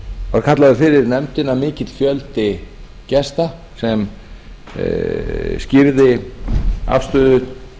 var kallaður fyrir nefndina mikill fjöldi gesta sem skýrði afstöðu